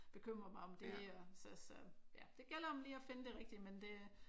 Bekymre mig om det og så så ja det gælder om lige at finde det rigtige men det